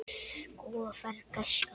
Góða ferð, gæskan!